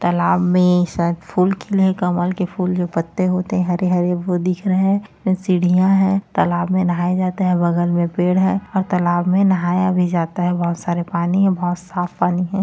तालाब में शायद फूल खिले हैं कमल के फूल जो पत्ते होते हैं हरे हरे- वो दिख रहें हैं सीढ़ियां है तालाब में नहाए जाते हैं बगल में पेड़ है और तालाब में नहाया भी जाता है बहुत सारे पानी है बहुत साफ पानी है।